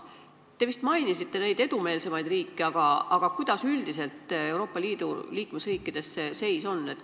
Te vist mainisite neid edumeelsemaid riike, aga kuidas üldiselt Euroopa Liidu liikmesriikides see seis on?